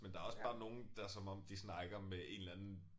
Men der også bare nogle der som om de snakker med en eller anden